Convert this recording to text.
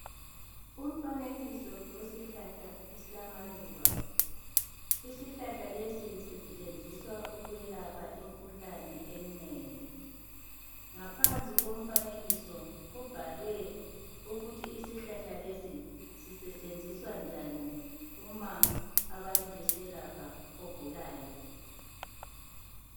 Umfanekiso wesihlahla esilamaluba. Isihlahla lesi sisetshenziswa ukulapha imikhuhlane eminengi. Ngaphansi komfanekiso kubhalwe ukuthi isihlahla lesi sisetshenziswa njani uma abantu beselapha ogulayo.